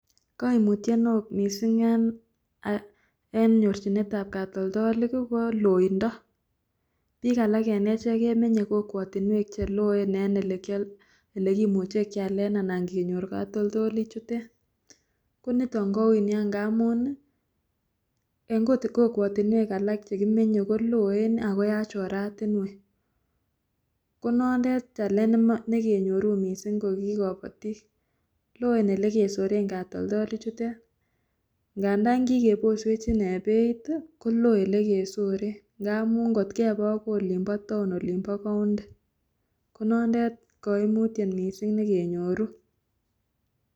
Koimutie neo mising en nyorchinetab katoltolik ko loindo, biik alak en echek kemenye kokwotinywek cheloe en elekimuche kialen anan kenyor katoltolichutet koniton koui nia ngamun en kokwotinwek alak chekimenye ko loen ak yachen oratinywek, konondet challenge nekenyoru mising koki koboti loen elekesoren katoltolichutet ngandan kikeboswech inee beit kolo elekesoren ngamun kot kepee akoi olimpo town olimpo county ko noondet koimutiet mising nekenyoru.